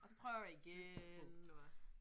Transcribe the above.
Og så prøver I igen eller hvad